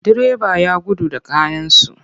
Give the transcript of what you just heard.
Direba ya gudu da kayansu.